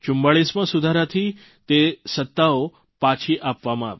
44માં સુધારાથી તે સત્તાઓ પાછી આપવામાં આવી